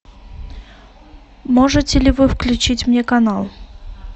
можете ли вы включить мне канал